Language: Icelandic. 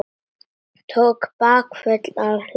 Tók bakföll af hlátri.